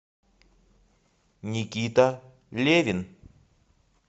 никита левин